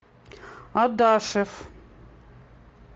адашев